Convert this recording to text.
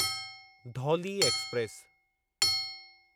Dhauli express